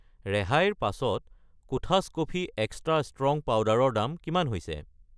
ৰেহাইৰ পাছত কোঠাছ কফি এক্সট্ৰা ষ্ট্ৰং পাউদাৰ ৰ দাম কিমান হৈছে?